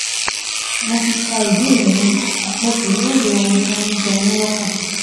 Mo ti ka ìbéèrè yín, mo sì lóye ohun tó ń jẹ yín lọ́kàn